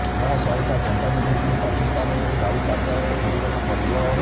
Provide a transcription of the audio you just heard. ଏହା ସହିତ କମ୍ପାନୀଗୁଡ଼ିକୁ ପାକିସ୍ତାନରେ ସ୍ଥାୟୀ କାର୍ଯ୍ୟାଳୟ ଖୋଲିବାକୁ ପଡ଼ିବ